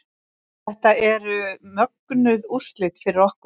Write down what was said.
Þetta eru mögnuð úrslit fyrir okkur